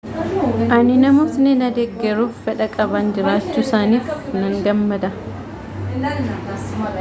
ani namootni na deggeruuf fedha qaban jiraachuusaaniif nan gammada